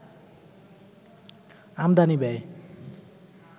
আমদানি ব্যয়